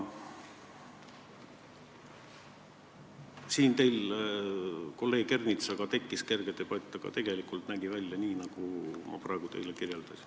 Teil kolleeg Ernitsaga tekkis kerge debatt, aga tegelikult nägi see asi välja nii, nagu ma praegu teile kirjeldasin.